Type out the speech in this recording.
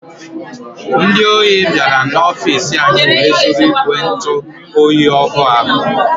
Ndị ọhi biara n'ofici anyị wee zụrụ ìgwè ntụ oyi ọhụụ ahụ.